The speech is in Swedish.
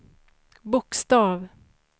bokstav